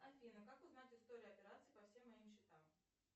афина как узнать историю операций по всем моим счетам